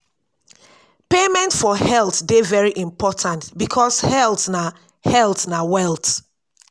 payment for health de very important because health na health na wealth